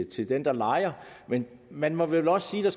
til den der lejer men man må vel også sige at